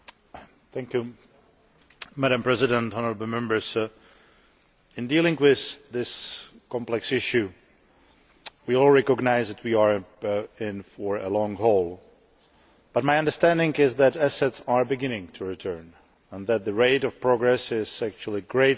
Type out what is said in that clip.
Madam President, honourable Members, in dealing with this complex issue we all recognise that we are in for the long haul, but my understanding is that assets are beginning to return and that the rate of progress is actually greater than in previous cases,